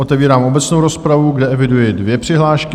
Otevírám obecnou rozpravu, kde eviduji dvě přihlášky.